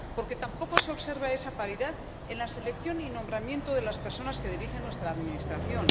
porque tampoco se observa esa paridad en la selección y el nombramiento de las personas que dirigen nuestra administración